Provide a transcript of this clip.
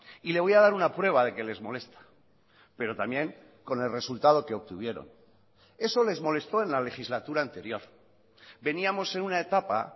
y le voy a dar una prueba de que les molesta pero también con el resultado que obtuvieron eso les molestó en la legislatura anterior veníamos en una etapa